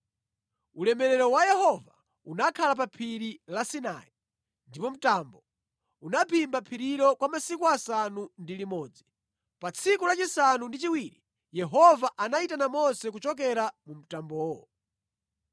Ulemerero wa Yehova unakhala pa phiri la Sinai, ndipo mtambo unaphimba phirilo kwa masiku asanu ndi limodzi. Pa tsiku lachisanu ndi chiwiri Yehova anayitana Mose kuchokera mu mtambowo.